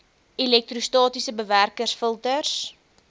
elektrostatiese bewerkers filters